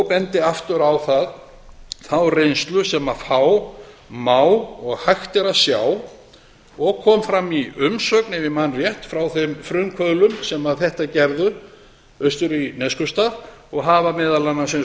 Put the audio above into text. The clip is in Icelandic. bendi aftur á þá reynslu sem þá má og hægt er að sjá og kom fram í umsögn ef ég man rétt frá þeim frumkvöðlum sem þetta gerðu austur í neskaupstað og hafa meðal annars eins og ég